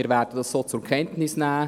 Wir werden es so zur Kenntnis nehmen.